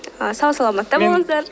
сау саламатта болыңыздар